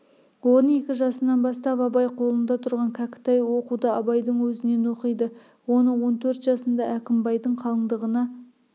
он екі жасынан бастап абай қолында тұрған кәкітай оқуды абайдың өзінен оқиды оны он төрт жасында әкімбайдың қалыңдығына